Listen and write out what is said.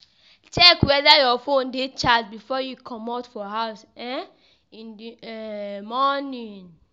check weda your phone dey charged before you comot for house um in the um morning